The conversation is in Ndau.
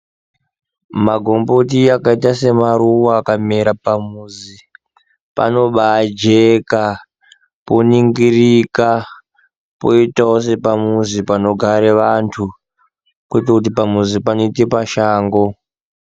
Magomboti akaita semaruwa akamera pamuzi panobaa jeka poningirika poitawo sepamuzi panogare vantu kwete kuti pamuzi panoite pasha go.